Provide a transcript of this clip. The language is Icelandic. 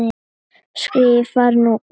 skrifar hún.